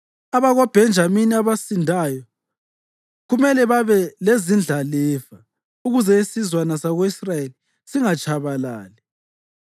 AbakoBhenjamini abasindayo kumele babe lezindlalifa, ukuze isizwana sako-Israyeli singatshabalali.